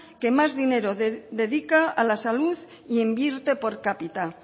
que más dinero dedica a la salud e invierte por cápita